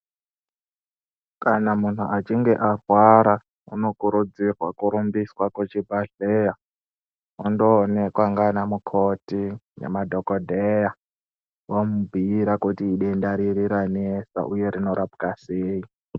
Kana muntu echinge arwara unokurudzirwa kuchibhedhera ondoonekwa ndianamukoti nemadhogodheya vomubhiira kuti idenda riri ranetsa, uye rinorapwa sei.